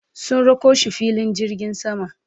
sun rako shi filin jirgin sama